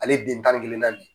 Ale ye den tan ni kelennan de ye.